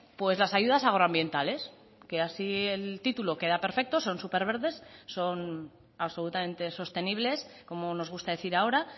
pues las ayudas agroambientales que así el título queda perfecto son súper verdes son absolutamente sostenibles como nos gusta decir ahora